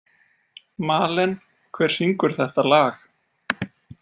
Malen, hver syngur þetta lag?